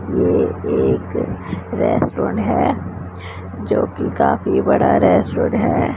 ये एक रेस्टोरेंट है जोकि काफी बड़ा रेस्टोरेंट है।